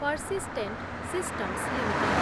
persistent systems limited